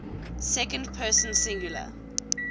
second person singular